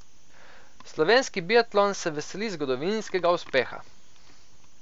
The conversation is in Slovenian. Slovenski biatlon se veseli zgodovinskega uspeha.